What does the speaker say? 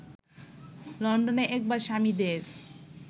লন্ডনে একবার স্বামীদের